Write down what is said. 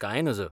कांय नज .